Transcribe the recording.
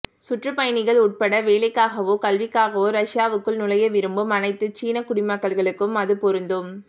சுற்றுப்பயணிகள் உட்பட வேலைக்காகவோ கல்விக்காகவோ ரஷ்யாவுக்குள் நுழைய விரும்பும் அனைத்துச் சீனக் குடிமக்களுக்கும் அது பொருந்தும்